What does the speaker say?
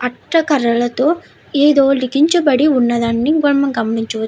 అట్ట కర్రలతో ఏదో లికించబడి ఉన్నదాని మనం గమనించవచ్చు.